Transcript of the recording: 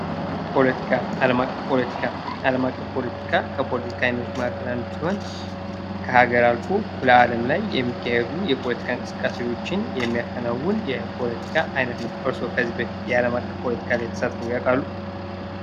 ፖለቲካ አለም አቀፍ ፖለቲካ አለም አቀፍ ፖለቲካ ከፖለቲካ አይነቶች መካከል አንዱ ሲሆን ከሀገር አልፎ ለዓለም ላይ የሚካሄዱ የፖለቲካ እንቅስቃሴዎችን የሚያከናውን የፖለቲካ ዓይነት ነው። እርስዎ ከዚህ በፊት የዓለም አቀፍ ፖለቲካ ላይ ተሳትፎ ያውቃሉ?